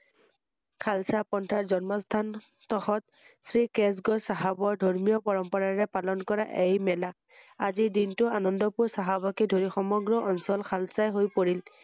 শালচা পন্থাৰ জন্মস্হান তহঁত কেচগড় চাহাবৰ ধৰ্মীয় পৰম্পৰাৰে পালন কৰা এই মেলা ৷ আজি দিনটো আনন্দপুৰ চাহাবকে ধৰি সমগ্ৰ অঞ্চল শালচা হৈ পৰিল ৷